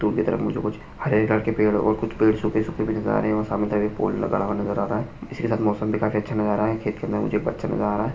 दूर के तरफ मुझे कुछ हरे कलर के पेड़ और कुछ पेड़ सूखे सूखे नजर आ रहे है और सामने की तरफ पूल तालाब नजर आ रहा है इसके साथ मौसम भी काफी अच्छा नजर आ रहा है खेत के अंदर मुझे एक बच्चा नजर आ रहा है।